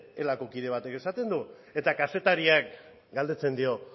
elako kide batek esaten du eta kazetariak galdetzen dio